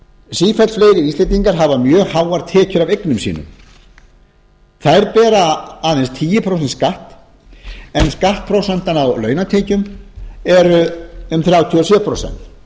sífellt fleiri íslendingar hafa mjög háar tekjur af eignum sínum þær bera aðeins tíu prósent skatt en skattprósentan á launatekjum er um þrjátíu og sjö prósent